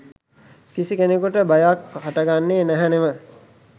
කිසි කෙනෙකුට භයක් හටගන්නේ නැහැ නෙව.